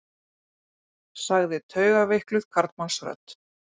sagði taugaveikluð karlmannsrödd.